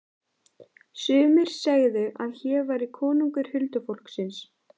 Sumir segðu að hér væri konungur huldufólksins.